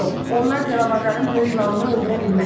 onlar Delavarların böyük ilanını öldürə bilməz.